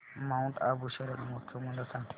Mount Abu शरद महोत्सव मला सांग